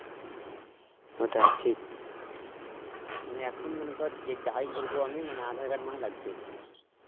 ওটাই ঠিক, মানে এখন মনে কর যাই করবো আমি মানে aadhar card মানে লাগবেই